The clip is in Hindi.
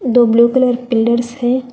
दो ब्ल्यू कलर पिलर्स है।